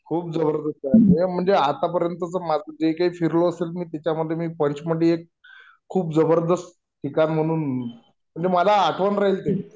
खूप जबरदस्त आहे म्हणजे आतापर्यंत माझं जे काय फिरलो असेल त्याच्यामध्ये पंचमढी एक खूप जबरदस्त ठिकाण म्हणून म्हणजे मला आठवण राहील ते